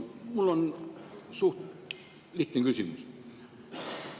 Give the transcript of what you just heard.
Mul on suhteliselt lihtne küsimus.